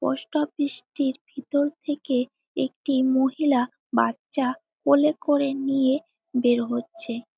Post office -টির ভিতর থেকে একটি মহিলা বাচ্চা কোলে করে নিয়ে বের হচ্ছে।